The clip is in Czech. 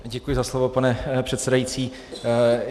Děkuji za slovo, pane předsedající.